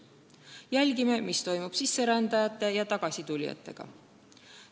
Jälgime, mis toimub sisserändajate ja tagasitulijatega.